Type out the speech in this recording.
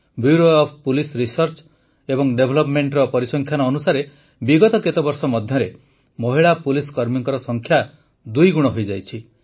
bureau of police research and ଡେଭଲପମେଣ୍ଟର ପରିସଂଖ୍ୟାନ ଅନୁସାରେ ବିଗତ କେତେବର୍ଷ ମଧ୍ୟରେ ମହିଳା ପୁଲିସ କର୍ମୀଙ୍କ ସଂଖ୍ୟା ଦୁଇଗୁଣ ହୋଇଯାଇଛି